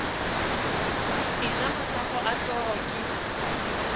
eja masapo a hlooho ke